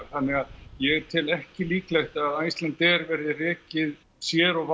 þannig að ég tel ekki líklegt að Icelandair verði rekið sér og